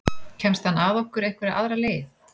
Kemst hann að okkur einhverja aðra leið?